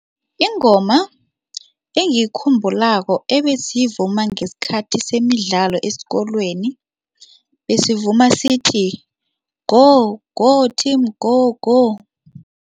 Ingoma engiyikhumbulako ebesiyivuma ngesikhathi semidlalo esikolweni, besivuma sithi, go go team go go.